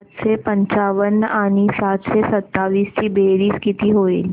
सातशे पंचावन्न आणि सातशे सत्तावीस ची बेरीज किती होईल